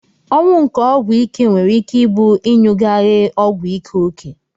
Ọnwụ nke ọgwụ ike nwere ike ibu inyugaghe ọgwụ ike oke.